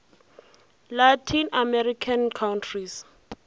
latin american countries